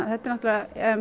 þetta er